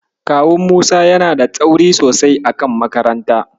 Kawun Musa yana da tsauri sosai a kan makaranta.